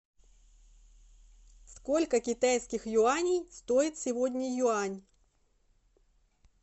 сколько китайских юаней стоит сегодня юань